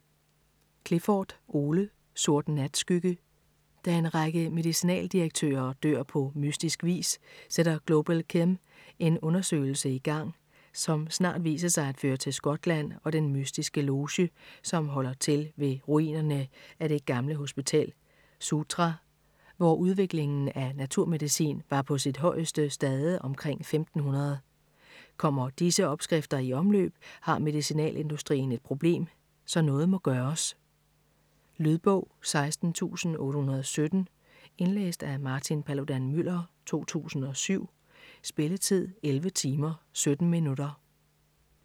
Clifford, Ole: Sort natskygge Da en række medicinaldirektører dør på mystisk vis, sætter GlobalChem en undersøgelse i gang, som snart viser sig at føre til Skotland og den mystiske loge, som holder til ved ruinerne af det gamle hospital Soutra, hvor udviklingen af naturmedicin var på sit højeste stade omkring 1500. Kommer disse opskrifter i omløb, har medicinalindustrien et problem, så noget må gøres. Lydbog 16817 Indlæst af Martin Paludan-Müller, 2007. Spilletid: 11 timer, 17 minutter.